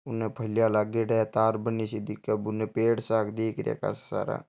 उन भालिया लागेड़ा है तार बनी सा दिख रहया है उन पेड़ सा दिख रहया है कासा सारा।